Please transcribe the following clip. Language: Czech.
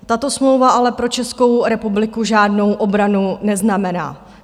Tato smlouva ale pro Českou republiku žádnou obranu neznamená.